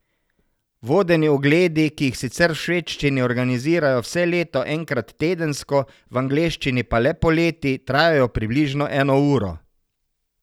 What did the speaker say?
Vodeni ogledi, ki jih sicer v švedščini organizirajo vse leto enkrat tedensko, v angleščini pa le poleti, trajajo približno eno uro.